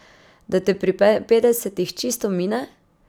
Da te pri petdesetih čisto mine?